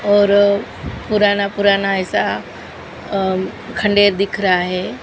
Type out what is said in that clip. और पुराना पुराना ऐसा अ खंडेर दिख रहा है।